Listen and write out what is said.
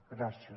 gràcies